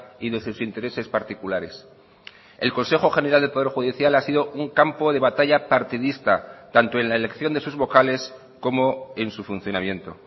y de sus intereses particulares el consejo general del poder judicial ha sido un campo de batalla partidista tanto en la elección de sus vocales como en su funcionamiento